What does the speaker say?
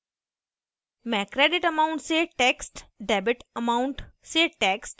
मैं creditamount से text